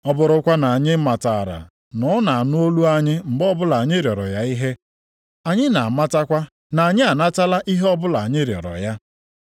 Ọ bụrụkwanụ na anyị matara na ọ na-anụ olu anyị mgbe ọbụla anyị rịọrọ ya ihe, anyị na-amatakwa na anyị anatala ihe ọbụla anyị rịọrọ ya.